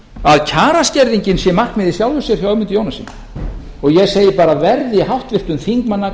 að kjaraskerðingin sé markmið í sjálfu sér hjá ögmundi jónassyni ég segi bara verði háttvirtum þingmanni að